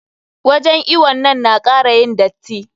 Wajen iwon nan na kara yin datti.